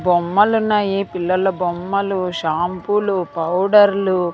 బొమ్మలున్నాయి పిల్లల బొమ్మలు షాంపూలు పౌడర్లు --